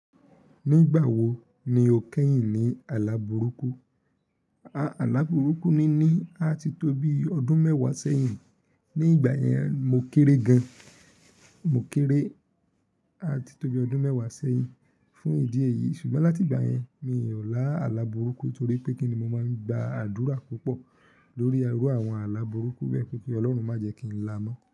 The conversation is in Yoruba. Nígbà wo ni o kẹ́yìn ní àlá burúkú? Àlá burúkú níní à ti tó bí ọdún mẹ́wàá sẹ́yìn. Ní ìgbà yẹn mo kéré gan, mo kéré, à ti tó bí ọdún mẹ́wàá sẹ́yìn. Fún ìdí èyí ṣùgbọ́n láti ìgbà yẹn mi ò lá àlá burúkú torí pé kíni mo máa ń gba àdúrà púpọ̀ lórí iru àwọn àlá burúkú bẹ́ẹ̀ kí Olórun má jẹ kí n láá mọ́.